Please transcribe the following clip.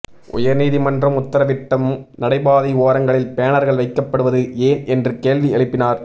உயர்நீதிமன்றம் உத்தரவிட்டும் நடைபாதை ஓரங்களில் பேனர்கள் வைக்கப்படுவது ஏன் என்று கேள்வி எழுப்பினார்